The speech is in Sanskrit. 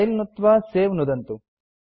फिले नुत्त्वा सवे नुदन्तु